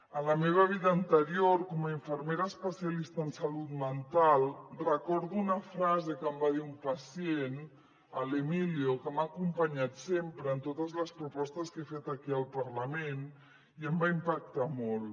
a la meva vida anterior com a infermera especialista en salut mental recordo una frase que em va dir un pacient l’emilio que m’ha acompanyat sempre en totes les propostes que he fet aquí al parlament i em va impactar molt